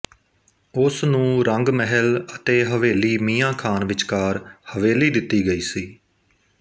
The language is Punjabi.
ਉਸ ਨੂੰ ਰੰਗ ਮਹਿਲ ਅਤੇ ਹਵੇਲੀ ਮੀਆਂ ਖ਼ਾਨ ਵਿਚਕਾਰ ਹਵੇਲੀ ਦਿੱਤੀ ਗਈ ਸੀ